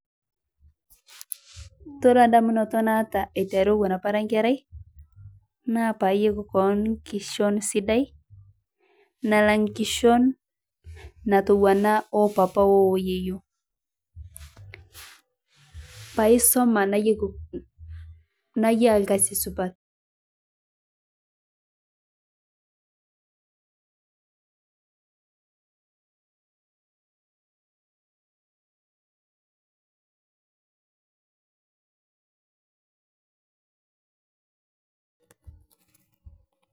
Ore ndamunoto naata eiteruu apaa owon araa nkerai, naa paayeki koon nkishon sidai nalang' nkishon natowana oopapa oo yeyio paisoma nayia lkazi supat.